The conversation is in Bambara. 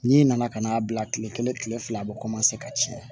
N'i nana ka n'a bila kile kelen kile fila a bɛ ka caya